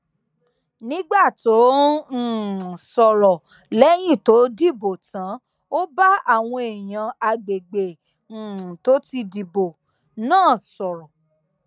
nígbà tó ń um sọrọ lẹyìn tó dìbò tán ó bá àwọn èèyàn àgbègbè um tó ti dìbò náà sọrọ